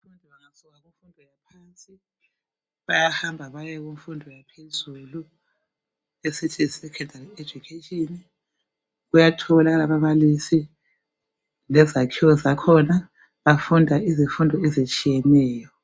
Bayahamba baye kumfundo yaphezulu. Esithi yisecondary education. Kuyatholakala ababalisi, lezakhiwo zakhona. Bafunda izifundo ezitshiyeneyo.